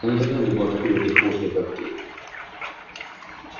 никогда не была такой вертихвосткой как ты